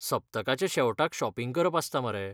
सप्तकाच्या शेवटाक शॉपिंग करप आसता मरे!